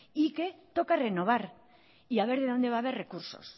y que toca renovar y a ver de donde va haber recursos